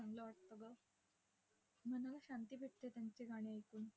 चांगलं वाटतं गं! मनाला शांती भेटते त्यांचे गाणे ऐकून.